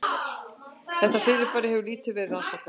Þetta fyrirbæri hefur lítið verið rannsakað.